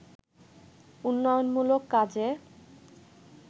উন্নয়নমূলক কাজে